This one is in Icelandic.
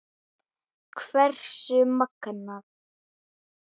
Hversu magnað!